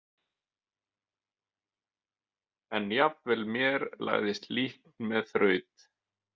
En jafnvel mér lagðist líkn með þraut.